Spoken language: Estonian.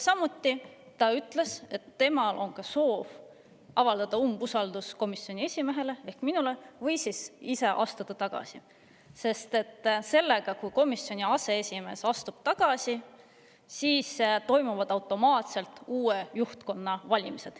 Veel ütles ta, et temal on soov avaldada umbusaldust komisjoni esimehele ehk minule või astub ta ise tagasi, sest siis, kui komisjoni aseesimees astub tagasi, toimuvad järgmisel komisjoni istungil automaatselt uue juhtkonna valimised.